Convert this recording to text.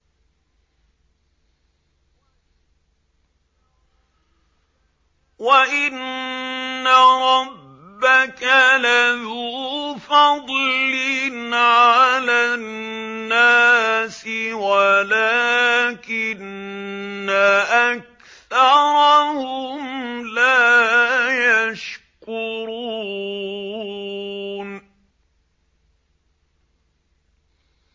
وَإِنَّ رَبَّكَ لَذُو فَضْلٍ عَلَى النَّاسِ وَلَٰكِنَّ أَكْثَرَهُمْ لَا يَشْكُرُونَ